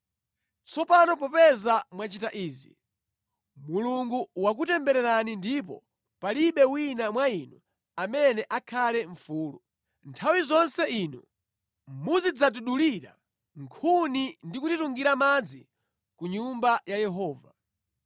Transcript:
Tsopano popeza mwachita izi, Mulungu wakutembererani ndipo palibe wina mwa inu amene akhale mfulu. Nthawi zonse inu muzidzatidulira nkhuni ndi kutitungira madzi ku Nyumba ya Yehova.”